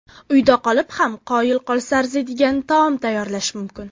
Uyda qolib ham qoyil qolsa arziydigan taom tayyorlash mumkin.